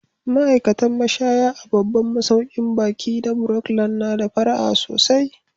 Ma'aikatan mashaya a babban masaukin baƙi na Brookland na da fara'a sosai.